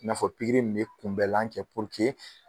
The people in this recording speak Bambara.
I n'a fɔ pikiri in bɛ kunbɛlan kɛ